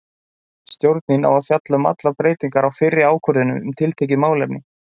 Stjórnin á að fjalla um allar breytingar á fyrri ákvörðunum um tiltekið málefni.